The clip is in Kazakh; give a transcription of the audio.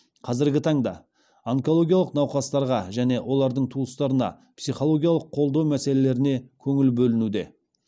қазіргі таңда онкологиялық науқастарға және олардың туыстарына психологиялық қолдау мәселелеріне көңіл бөлінуде